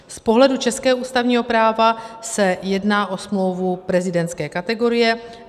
Z pohledu českého ústavního práva se jedná o smlouvu prezidentské kategorie.